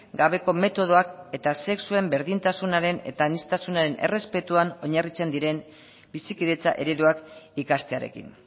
gabeko metodoak eta sexuen berdintasunaren eta aniztasunaren errespetuan oinarritzen diren bizikidetza ereduak ikastearekin